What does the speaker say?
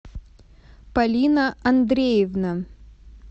полина андреевна